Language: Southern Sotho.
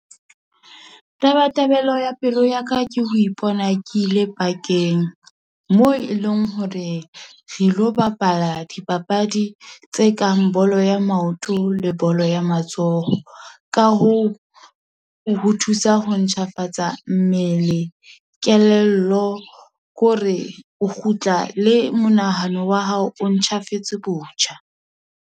Taba tabelo ya pelo ya ka, ke ho ipona ke ile park-eng, moo e leng hore re lo bapala dipapadi, tse kang bolo ya maoto, le bolo ya matsoho. Ka hoo, ho thusa ho ntjhafatsa mmele, kelello, ko re o kgutla le monahano wa hao o ntjhafetse botjha.